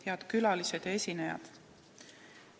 Head külalised ja esinejad!